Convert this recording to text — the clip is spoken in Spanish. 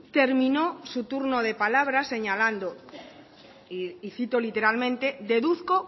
terminó su turno de palabra señalando y cito literalmente deduzco